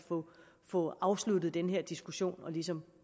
få afsluttet den her diskussion og ligesom